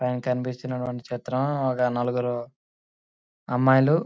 పైన కనిపిస్తున్నటువంటి చిత్రం ఒక నలుగురు అమ్మాయిలు--